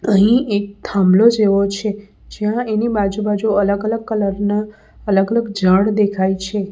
અહીં એક થાંભલો જેવો છે જ્યાં એની બાજુ-બાજુ અલગ અલગ કલર ના અલગ અલગ ઝાડ દેખાય છે.